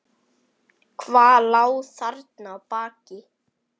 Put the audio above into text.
Hvað lá þarna að baki?